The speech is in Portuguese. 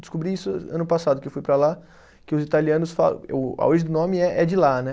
Descobri isso ano passado, que eu fui para lá, que os italianos falam. A origem do nome é de lá, né?